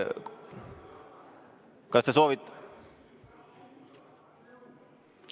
Kas te soovite ...